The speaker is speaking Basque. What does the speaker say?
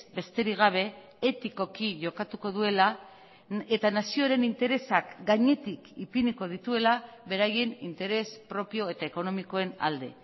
besterik gabe etikoki jokatuko duela eta nazioaren interesak gainetik ipiniko dituela beraien interes propio eta ekonomikoen alde